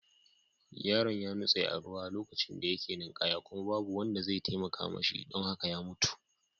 Yaron ya nutse a ruwa lokacin da yake ninkaya kuma babu wanda zai cece shi don haka ya mutu.